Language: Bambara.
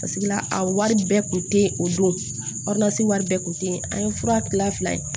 Paseke la a wari bɛɛ tun tɛ ye o don wari bɛɛ tun tɛ yen an ye fura gilan fila ye